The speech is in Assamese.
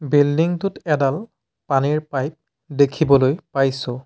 বিল্ডিং টোত এডাল পানীৰ পাইপ দেখিবলৈ পাইছোঁ।